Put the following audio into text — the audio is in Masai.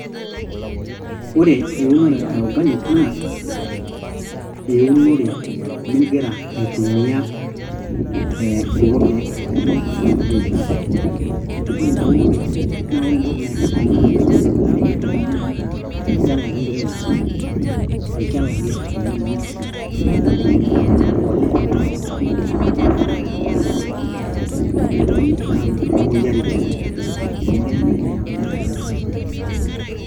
ore eunore e organic naa eunore mingira aitumia kulo keek laijo fertilizers ore ina unore naa ore entoki naipirta naa enkipirta naaji naa olchala ake intumia olchala ake ele loonkishu e mpolea ake intumia na ore faida nayau ena naa meitokini aatum imoyiiaritin amu keya nnaji neyau kunda fertilzers imoyiaritin kumok.